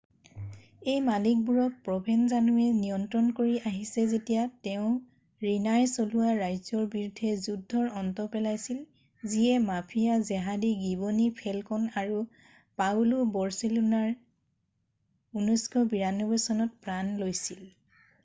এই মালিকবোৰক প্ৰভেনজানোৱে নিয়ন্ত্ৰণ কৰি আহিছে যেতিয়া তেওঁ ৰিনাই চলোৱা ৰাজ্যৰ বিৰুদ্ধে যুদ্ধৰ অন্ত পেলাইছিল যিয়ে মাফিয়া জেহাদী গীৱনী ফেলকণ আৰু পাওঁলো বৰচেলিনোৰ 1992 চনত প্ৰাণ লৈছিল